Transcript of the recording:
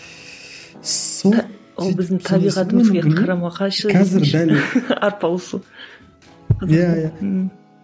сол ол біздің табиғатымызға қарама қайшы арпалысу иә иә ммм